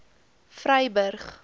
vryburg